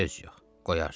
Söz yox, qoyarsan.